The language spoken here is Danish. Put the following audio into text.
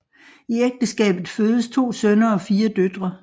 I ægteskabet fødes to sønner og fire døtre